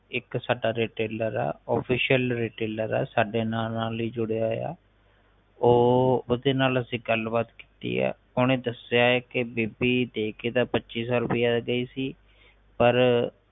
ਇਕ ਸਾਡਾ retailor ਆ official retailor ਆ ਸਾਡੇ ਨਾ ਨਾਲ ਹੀ ਜੁੜਿਆ ਹੋਇਆ ਉਹ ਓਹਦੇ ਨਾਲ ਅਗੇ ਗੱਲਬਾਤ ਕੀਤੀ ਏ ਓਹਨੀ ਦੱਸਿਆ ਏ ਬੀਬੀ ਦੇਕੇ ਇਹਦਾ ਪੱਚੀ ਸੋ ਰੁਪਈਆ ਗਯੀ ਸੀ ਪਰ